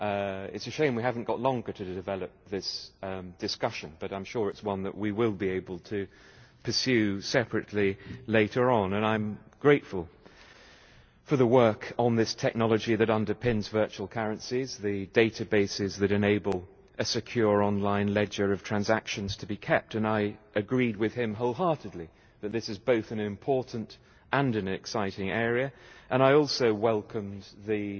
It is a shame we have not got longer to develop this discussion, but I am sure it is one that we will be able to pursue separately later on, and I am grateful for the work on this technology that underpins virtual currencies, the databases that enable a secure online ledger of transactions to be kept. I agreed with him wholeheartedly that this is both an important and an exciting area, and I also welcomed the